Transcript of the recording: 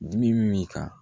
Min min ka